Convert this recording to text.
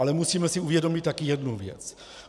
Ale musíme si uvědomit taky jednu věc.